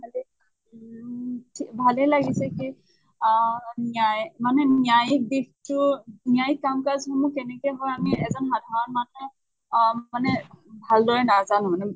ভালেই উম থে ভালে লাগিছে সেই অহ ন্য়ায় মানে ন্য়ায়িক দিশটো মানে ন্য়ায়িক কাম কাজ সমূহ কেনেকে হয় আমি এজন সাধাৰণ মানুহ অহ মানে ভাল দৰে নাজানো।